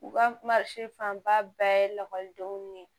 U ka fanba bɛɛ ye lakɔlidenw ye